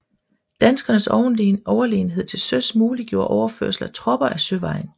Danskernes overlegenhed til søs muliggjorde overførsel af tropper ad søvejen